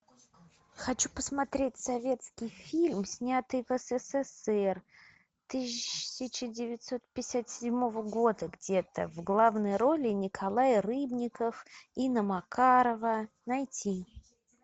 хочу посмотреть советский фильм снятый в ссср тысяча девятьсот пятьдесят седьмого года где то в главной роли николай рыбников инна макарова найти